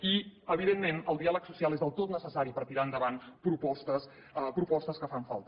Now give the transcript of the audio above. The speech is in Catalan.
i evidentment el diàleg social és del tot necessari per tirar endavant propostes propostes que fan falta